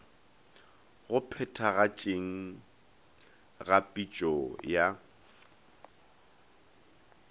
go phethagatšeng ga pitšo ya